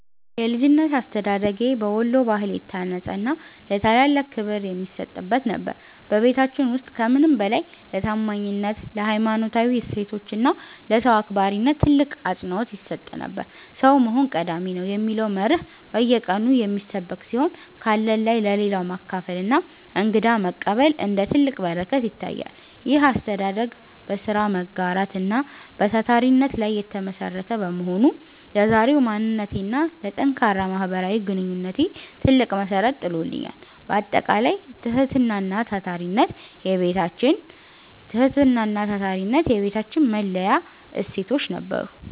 የልጅነት አስተዳደጌ በወሎ ባህል የታነጸና ለታላላቅ ክብር የሚሰጥበት ነበር። በቤታችን ውስጥ ከምንም በላይ ለታማኝነት፣ ለሀይማኖታዊ እሴቶች እና ለሰው አክባሪነት ትልቅ አፅንዖት ይሰጥ ነበር። "ሰው መሆን ቀዳሚ ነው" የሚለው መርህ በየቀኑ የሚሰበክ ሲሆን፣ ካለን ላይ ለሌለው ማካፈልና እንግዳ መቀበል እንደ ትልቅ በረከት ይታያል። ይህ አስተዳደግ በሥራ መጋራት እና በታታሪነት ላይ የተመሠረተ በመሆኑ፣ ለዛሬው ማንነቴና ለጠንካራ ማህበራዊ ግንኙነቴ ትልቅ መሠረት ጥሎልኛል። ባጠቃላይ፣ ትህትናና ታታሪነት የቤታችን መለያ እሴቶች ነበሩ።